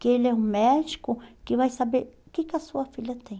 Que ele é um médico que vai saber o que que a sua filha tem.